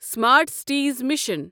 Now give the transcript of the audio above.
smart cities mission